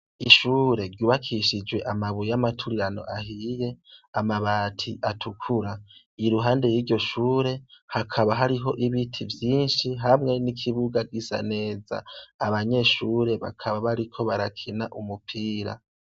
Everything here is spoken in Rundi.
Ishure ryubakishijwe amabuye y'amaturirano ahiye, amabati atukura iruhande y'iryo shure hakaba hariho ibiti vyinshi hamwe n'ikibuga gisa neza, abanyeshure bakaba bariko barakina umupira.